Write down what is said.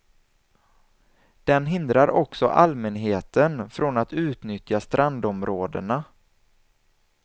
Den hindrar också allmänheten från att utnyttja strandområdena.